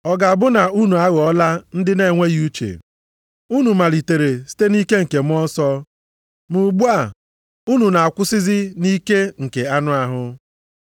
Ọ ga-abụ na unu aghọọla ndị na-enweghị uche? Unu malitere site nʼike Mmụọ Nsọ, ma ugbu a unu na-akwụsịzi nʼike nke anụ ahụ?